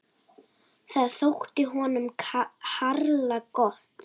Það þótti honum harla gott.